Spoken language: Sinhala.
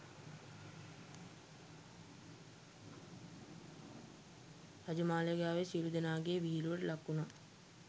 රජමාලිගාවේ සියලූ දෙනාගේ විහිළුවට ලක්වුනා.